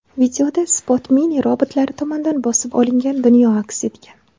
Videoda SpotMini robotlari tomonidan bosib olingan dunyo aks etgan.